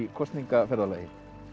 kosningaferðalagi